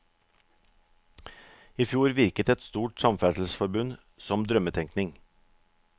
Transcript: I fjor virket et stort samferdselsforbund som drømmetenkning.